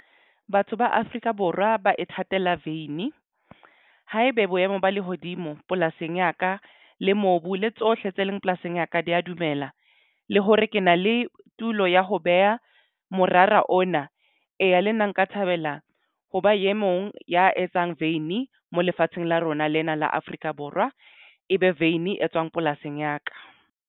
Batho ba Afrika Borwa ba ithatela veini haebe boemo ba lehodimo polasing ya ka le mobu le tsohle tse leng polasing ya ka di ya dumela le hore ke na le tulo ya ya ho beha morara ona. Eya, le nna nka thabela ho ba e mong ya etsang vein mo lefatsheng la rona lena la Afrika Borwa e be veini e etswang polasing ya ka.